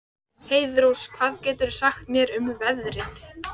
Heiðrós, hvað geturðu sagt mér um veðrið?